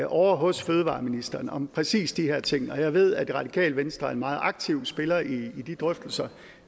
ovre hos fødevareministeren om præcis de her ting og jeg ved at det radikale venstre er en meget aktiv spiller i de drøftelser